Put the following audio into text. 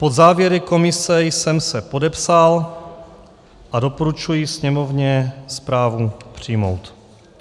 Pod závěry komise jsem se podepsal a doporučuji Sněmovně zprávu přijmout.